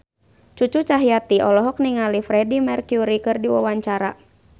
Cucu Cahyati olohok ningali Freedie Mercury keur diwawancara